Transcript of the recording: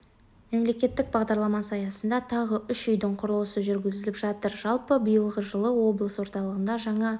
мемлекеттік бағдарламасы аясында тағы үш үйдің құрылысы жүргізіліп жатыр жалпы биылғы жылы облыс орталығында жаңа